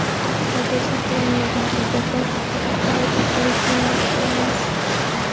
Hozir saqlanmagan hujjatlar haqida xavotir olishning vaqti emas.